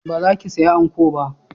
Ba za ki saya anko ba?